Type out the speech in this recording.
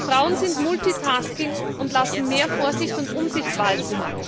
Frauen sind fähig zu Multitasking und lassen mehr Vorsicht und Umsicht walten.